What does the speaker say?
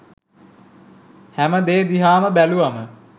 හැම දේ දිහාම බැලුවාම